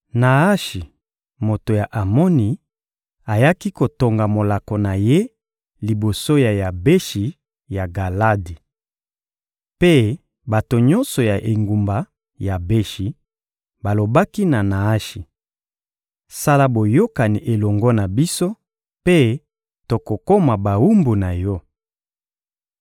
Naashi, moto ya Amoni, ayaki kotonga molako na ye liboso ya Yabeshi ya Galadi. Mpe bato nyonso ya engumba Yabeshi balobaki na Naashi: — Sala boyokani elongo na biso, mpe tokokoma bawumbu na yo.